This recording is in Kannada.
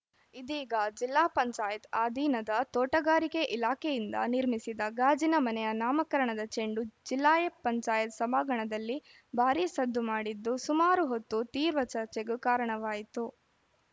ಇದೀಗ ಜಿಲ್ಲಾ ಪಂಚಾಯತ್ ಅಧೀನದ ತೋಟಗಾರಿಕೆ ಇಲಾಖೆಯಿಂದ ನಿರ್ಮಿಸಿದ ಗಾಜಿನ ಮನೆಯ ನಾಮಕರಣದ ಚೆಂಡು ಜಿಲ್ಲಾ ಪಂಚಾಯತ್ ಸಭಾಂಗಣದಲ್ಲಿ ಭಾರೀ ಸದ್ದು ಮಾಡಿದ್ದು ಸುಮಾರು ಹೊತ್ತು ತೀವ್ರ ಚರ್ಚೆಗೂ ಕಾರಣವಾಯಿತು